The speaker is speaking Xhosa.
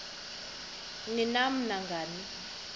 ni nam nangani